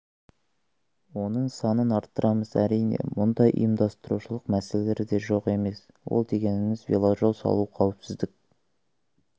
оның санын арттырамыз әрине мұнда ұйымдастырушылық мәселелер де жоқ емес ол дегеніңіз веложол салу қауіпсіздік